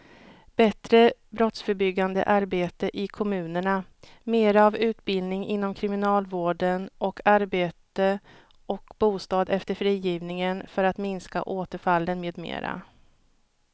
Bättre brottsförebyggande arbete i kommunerna, mera av utbildning inom kriminalvården och arbete och bostad efter frigivningen för att minska återfallen med mera.